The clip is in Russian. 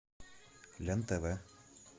лен тв